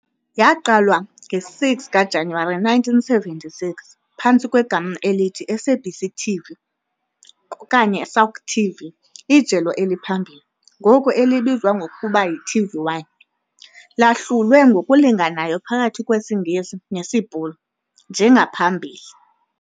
Yaqalwa nge-6 kaJanuwari 1976 phantsi kwegama elithi SABC TV okanye SAUK TV. Ijelo eliphambili, ngoku elibizwa ngokuba yiTV1, lahlulwe ngokulinganayo phakathi kwesiNgesi nesiBhulu, njengangaphambili.